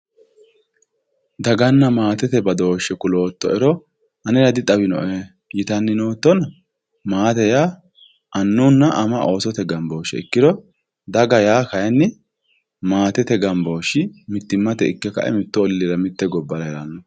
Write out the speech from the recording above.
daganna maatete badooshe kulooto"ero anera dixawino"e yitanni noottona maate yaa anunna ama oosote gambooshe ikkiro daga yaa kaayiini maatete gambooshi mitimmate ike ka"e mittu olliira mitte gobbara heeranno.